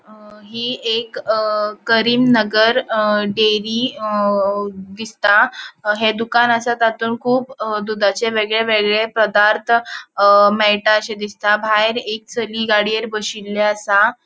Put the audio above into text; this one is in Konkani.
अ हि एक करीम नगर अ डेअरी अ दिसता ह्ये दुकान असा तांतून कुब दुधाचे वेगळे वेगळे पदार्थ अ मेळटाशे दिसता. भायर एक चली गाडयेर बशिल्ली असा.